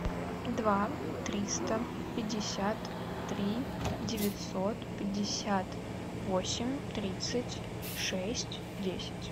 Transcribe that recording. два триста пятьдесят три девятьсот пятьдесят восемь тридцать шесть десять